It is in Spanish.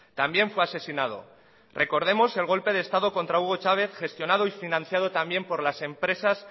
también fue asesinado recordemos el golpe de estado contra hugo chávez gestionado y financiado también por las empresas